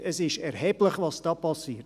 Es ist erheblich, was hier geschieht.